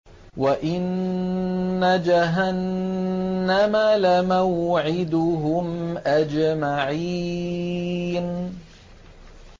وَإِنَّ جَهَنَّمَ لَمَوْعِدُهُمْ أَجْمَعِينَ